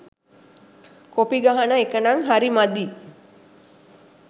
Copy ගහන එකනං හරි මදි.